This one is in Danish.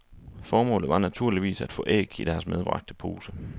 Formålet var naturligvis at få æg i deres medbragte pose.